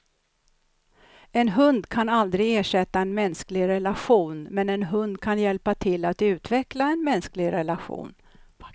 En hund kan aldrig ersätta en mänsklig relation, men en hund kan hjälpa till att utveckla en mänsklig relation.